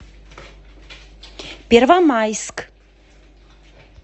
первомайск